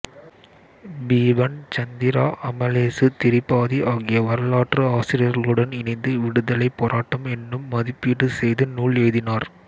பிபன் சந்திரா அமலேசு திரிபாதி ஆகிய வரலாற்று ஆசிரியர்களுடன் இணைந்து விடுதலைப் போராட்டம் என்னும் மதிப்பிடு செய்து நூல் எழுதினார்